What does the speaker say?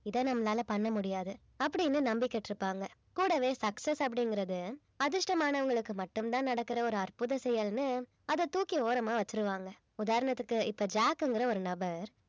இதை நம்மளால பண்ண முடியாது அப்படீன்னு நம்பிக்கிட்டு இருப்பாங்க கூடவே success அப்படிங்கறது அதிர்ஷ்டமானவங்களுக்கு மட்டும்தான் நடக்குற ஒரு அற்புத செயல்னு அதை தூக்கி ஓரமா வச்சிருவாங்க உதாரணத்துக்கு இப்ப ஜாக்ங்கிற ஒரு நபர்